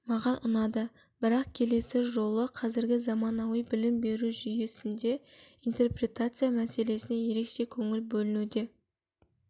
маған ұнады бірақ келесі жолы қазіргі заманауи білім беру жүйесінде интерпретация мәселесіне ерекше көңіл бөлінуде